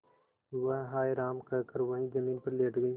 वह हाय राम कहकर वहीं जमीन पर लेट गई